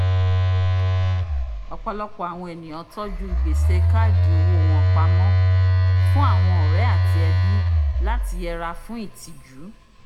ọpọlọpọ awọn eniyan tọju gbese kaadi owó wọn pamọ́ fun awọn ọrẹ ati ẹbi lati yẹra fún itiju